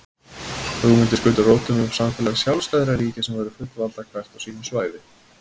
Hugmyndir skutu rótum um samfélag sjálfstæðra ríkja sem væru fullvalda hvert á sínu svæði.